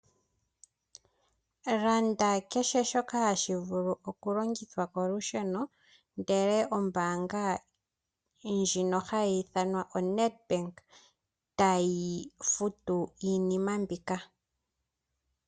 Landa kehe shoka hashi vulu okulongithwa kolusheno ndele ombaanga ndjino hayi ithanwa oNedbank tayi futu iinima mbika.